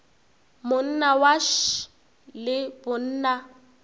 monna wa š le bonna